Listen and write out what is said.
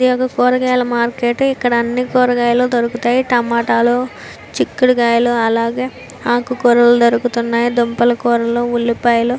ఇది ఒక కూరగాయల మార్కెట్ ఇక్కడ అన్ని కూరగాయలు దొరుకుతాయి. టమాటాలు చిక్కుడిగాయలు అలాగే ఆకుకూరలు దొరుకు తున్నాయి దుంపల కూరలు ఉల్లిపాయలు --